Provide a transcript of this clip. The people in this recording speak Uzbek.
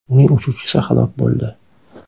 Uning uchuvchisi halok bo‘ldi.